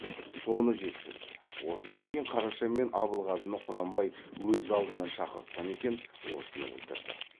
соны жеткізді осыдан кейін қараша мен абылғазыны құнанбай өз алдына шақыртқан екен осыны білдірді